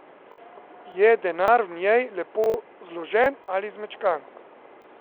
Je denar v njej lepo zložen ali zmečkan?